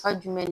Fa jumɛn